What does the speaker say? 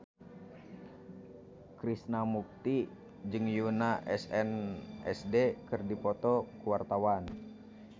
Krishna Mukti jeung Yoona SNSD keur dipoto ku wartawan